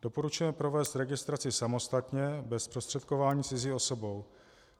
Doporučujeme provést registraci samostatně bez zprostředkování cizí osobou.